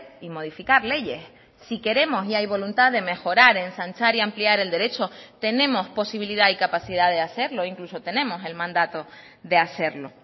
y modificar leyes si queremos y hay voluntad de mejorar ensanchar y ampliar el derecho tenemos posibilidad y capacidad de hacerlo incluso tenemos el mandato de hacerlo